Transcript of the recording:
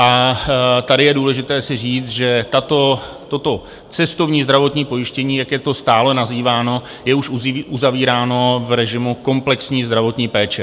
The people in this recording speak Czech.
A tady je důležité si říct, že toto cestovní zdravotní pojištění, jak je to stále nazýváno, je už uzavíráno v režimu komplexní zdravotní péče.